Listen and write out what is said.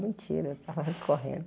Mentira, eu tava alí correndo.